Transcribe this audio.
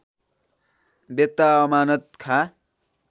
बेत्ता Amanat Khan